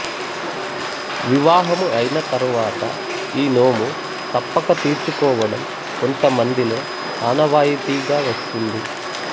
వివాహము అయిన తరువాత ఈ నోము తప్పక తీర్చుకోవడం కొంత మందిలో ఆనవాయితీగా వస్తుంది